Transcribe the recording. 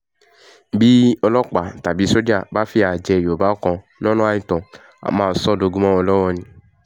bí ọlọ́pàá tàbí sójà bá fìyà jẹ yorùbá kan lọ́nà àìtọ́ á máa sọ ọ́ dogun mọ́ wọn lọ́wọ́ ni